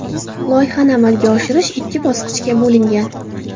Loyihani amalga oshirish ikki bosqichga bo‘lingan.